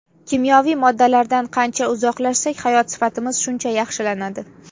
Kimyoviy moddalardan qancha uzoqlashsak, hayot sifatimiz shuncha yaxshilanadi.